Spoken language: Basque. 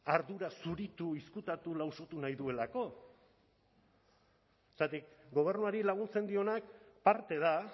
ardura zuritu izkutatu lausotu nahi duelako zergatik gobernuari laguntzen dionak parte da